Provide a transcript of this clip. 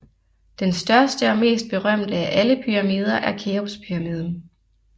Den største og mest berømte af alle pyramider er Keopspyramiden